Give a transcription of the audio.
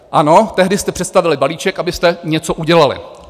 Ano, tehdy jste představili balíček, abyste něco udělali.